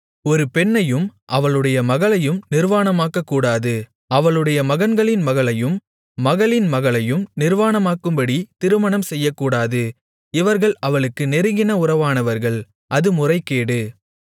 ஒரு பெண்ணையும் அவளுடைய மகளையும் நிர்வாணமாக்கக்கூடாது அவளுடைய மகன்களின் மகளையும் மகளின் மகளையும் நிர்வாணமாக்கும்படி திருமணம் செய்யக்கூடாது இவர்கள் அவளுக்கு நெருங்கின உறவானவர்கள் அது முறைகேடு